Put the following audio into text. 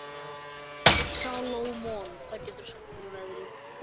Salómon, hvað geturðu sagt mér um veðrið?